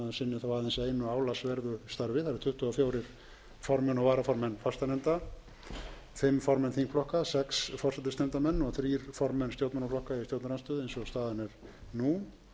eru tuttugu og fjögur formenn og varaformenn fastanefnda fimm formenn þingflokka sex forsætisnefndarmenn og þrjú formenn stjórnmálaflokka í stjórnarandstöðu eins og staðan er nú en